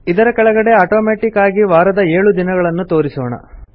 ಇದರ ಕೆಳಗಡೆ ಅಟೋಮೆಟಿಕ್ ಆಗಿ ವಾರದ ಏಳು ದಿನಗಳನ್ನು ತೋರಿಸೋಣ